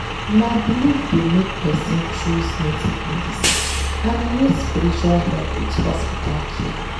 na belief dey make person choose native medicine and e need spiritual help with hospital care.